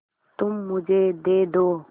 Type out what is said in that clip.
तुम मुझे दे दो